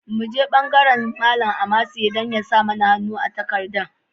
Mu je bangaren Ilimi, Malam Amase yana nan don ya sa mana hannu a takardar.